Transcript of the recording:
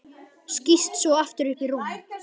Skýst svo aftur upp í rúm.